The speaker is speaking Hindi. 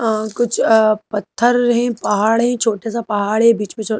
कुछ पत्थर हीं पहाड हीं छोटासा पहाड़ है बिच में--